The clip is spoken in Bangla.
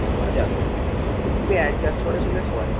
শোয়া যাবে, কিন্তু adjust করেস শুলে শোয়া যাবে